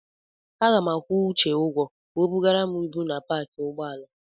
Aga m akwụ Uche ụgwọ ka o bugara m ibu na paakị ụgbọala.